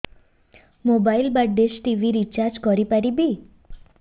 mobile ବା dish TV recharge କରି ପାରିବି